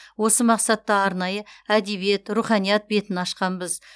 осы мақсатта арнайы әдебиет руханият бетін ашқанбыз